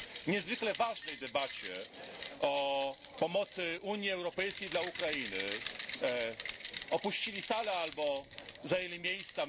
niezwykle ważnej debacie, o pomocy Unii Europejskiej dla Ukrainy, opuścili salę albo zajęli miejsca?